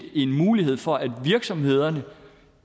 en mulighed for at virksomhederne